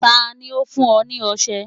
Ta ni ó fún ọ ní ọṣẹ?